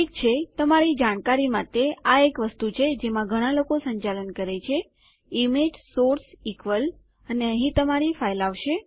ઠીક છે તમારી જાણકારી માટે આ એક વસ્તુ છે જેમાં ઘણાં લોકો સંચાલન કરે છે160 ઈમેજ સોર્સ ઇક્વલ અને અહીં તમારી ફાઈલ આવશે